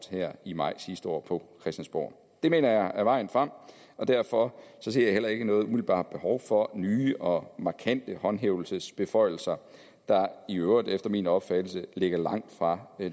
her i maj sidste år på christiansborg det mener jeg er vejen frem og derfor ser jeg heller ikke noget umiddelbart behov for nye og markante håndhævelsesbeføjelser der i øvrigt efter min opfattelse ligger langt fra